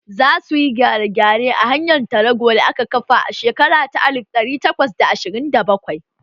Za su yi gyare-gyare a hanyar tarago da aka kafa a shekara ta alif ɗari takwas da ashirin da bakwai